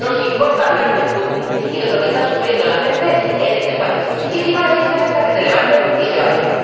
Nos importa hablar de Burundi y de lo que está sufriendo la gente en ese país. Y si no les interesa, que se levanten y se vayan.